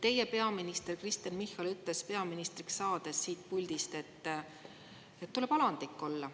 Teie peaminister Kristen Michal ütles peaministriks saades siit puldist, et tuleb alandlik olla.